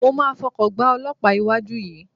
Mo máa fọkọ̀ gbá olọ́pàá iwájú yìí.